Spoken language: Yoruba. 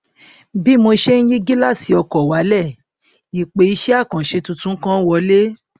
bí mo ṣe n yí gíláàsì ọkọ wálẹ ìpè iṣẹ àkànṣe tuntun kan wọlé